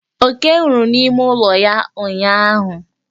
Oke nwụrụ n'ime ụlọ ya ụnyụahụ.